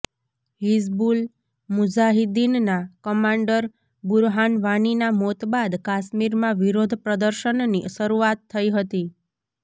હિઝબુલ મુજાહિદીનના કમાન્ડર બુરહાન વાનીના મોત બાદ કાશ્મીરમાં વિરોધ પ્રદર્શનની શરૂઆત થઇ હતી